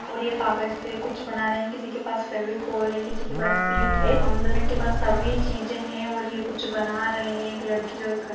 और ये कागज़ से कुछ बना रही हैं किसी के पास फेवीकॉल है किसी के पास शीट है अम्म मतलब इनके पास सभी चीज़ें हैं और कुच बना रहे हैं।